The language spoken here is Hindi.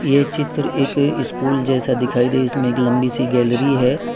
ये चित्र एक स्कूल जैसा दिखाई दे इसमें एक लंबी सी गैलरी है।